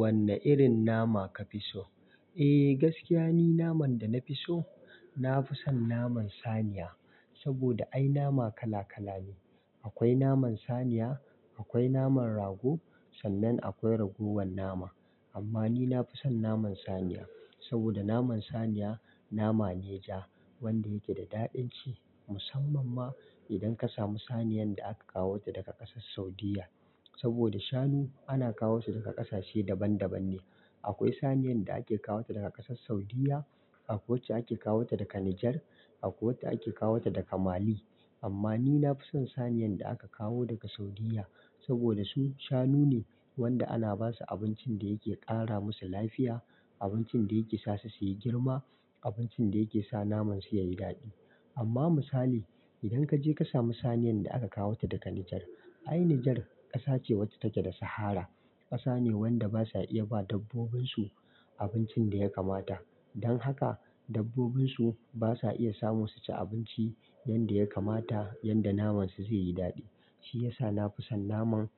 Wanne irin nama ka fi so? Eh, gaskiya ni naman da na fi so, na fi son naman saniya. Saboda ai nama kala-kala ne. Akwai naman saniya, akwai naman rago, sannan akwai ragowan nama. Amma ni na fi son naman saniya. Saboda naman saniya nama ne ja wanda yake da daɗin ci. Musamman ma, idan ka samu saniyan da aka kawo ta daga ƙasar Saudiyya. Saboda shanu ana kawo su daga ƙasashe daban daban ne. Akwai saniyan da ake kawo ta daga ƙasar Saudiyya, akwai wacce ake kawo ta daga Nijar, akwai wacce ake kawo ta daga Mali. Amma ni na fi son saniyan da aka kawo daga Saudiyya, saboda su shanu ne wanda ana ba su abincin da yake ƙara musu lafiya, abincin da yake sa su su yi girma, abincin da yake sa naman su ya yi daɗi. Amma misali, idan ka je ka sami saniyan da aka kawo ta daga Nijar, ai Nijar ƙasa ce wacce take da Sahara, ƙasa ne wanda ba sa iya ba dabbobin su abincin da ya kamata. Don haka dabbobin su ba sa iya samu su ci abinci yanda ya kamata yanda naman su zai yi daɗi. Shi ya sa na fi son naman,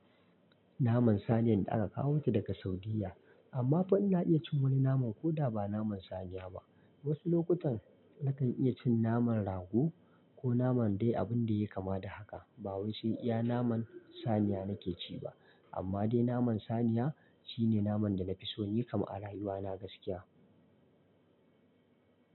naman saniyan da aka kawo ta daga Saudiyya. Amma fa ina iya cin wani naman ko da ba naman saniya ba. Wasu lokutan, nakan iya cin naman rago, ko naman dai abun da ya yi kama da haka. Ba wai sai iya naman saniya nake ci ba. Amma dai naman saniya, shi ne naman da na fi so, ni kam a rayuwa na gaskiya.